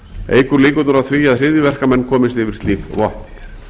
eykur líkurnar á því að hryðjuverkamenn komist yfir slík vopn